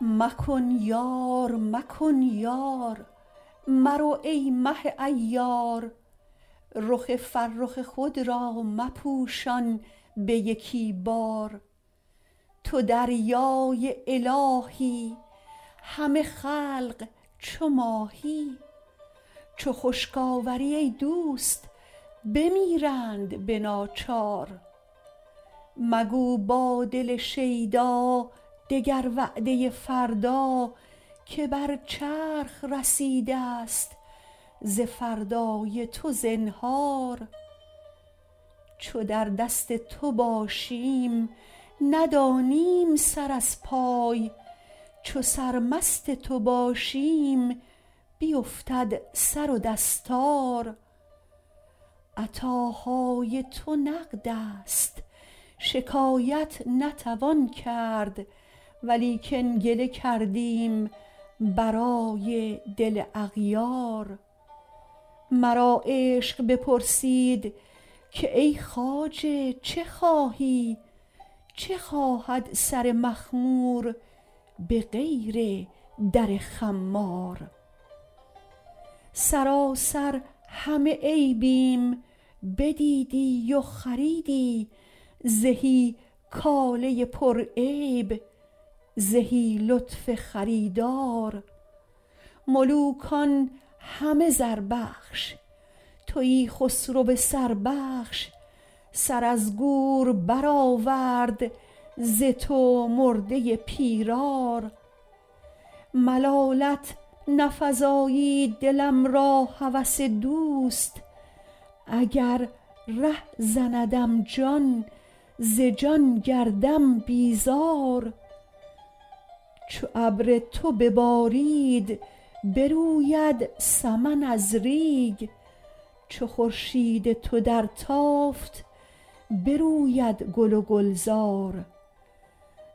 مکن یار مکن یار مرو ای مه عیار رخ فرخ خود را مپوشان به یکی بار تو دریای الهی همه خلق چو ماهی چو خشک آوری ای دوست بمیرند به ناچار مگو با دل شیدا دگر وعده فردا که بر چرخ رسیدست ز فردای تو زنهار چو در دست تو باشیم ندانیم سر از پای چو سرمست تو باشیم بیفتد سر و دستار عطاهای تو نقدست شکایت نتوان کرد ولیکن گله کردیم برای دل اغیار مرا عشق بپرسید که ای خواجه چه خواهی چه خواهد سر مخمور به غیر در خمار سراسر همه عیبیم بدیدی و خریدی زهی کاله پرعیب زهی لطف خریدار ملوکان همه زربخش تویی خسرو سربخش سر از گور برآورد ز تو مرده پیرار ملالت نفزایید دلم را هوس دوست اگر ره زندم جان ز جان گردم بیزار چو ابر تو ببارید بروید سمن از ریگ چو خورشید تو درتافت بروید گل و گلزار